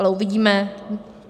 Ale uvidíme.